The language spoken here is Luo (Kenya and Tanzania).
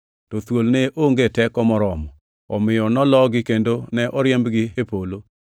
To thuol ne onge teko moromo, omiyo nologi kendo ne oriembgi e polo.